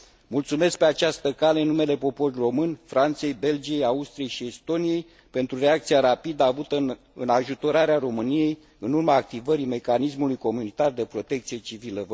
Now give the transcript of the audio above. Mulțumesc pe această cale în numele poporului român Franței, Belgiei, Austriei și Estoniei pentru reacția rapidă avută în ajutorarea României, în urma activării mecanismului comunitar de protecție civilă.